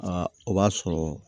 o b'a sɔrɔ